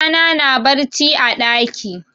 Yaron yaya na na barci a ɗaki.